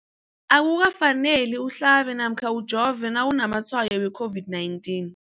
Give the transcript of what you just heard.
Akuka faneli uhlabe namkha ujove nawu namatshayo we-COVID-19.